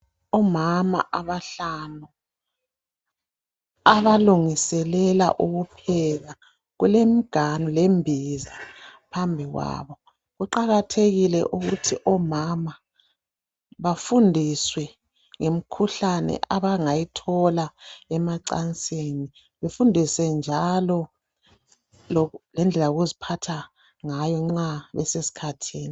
Omama abahlanu abalungiselela ukupheka .Kulemiganu lembiza phambi kwabo . Kuqakathekile ukuthi omama bafundiswe ngemikhuhlane abangayithola emacansini. Bafundiswe njalo lendlela yokuziphatha ngayo nxa besesikhathini.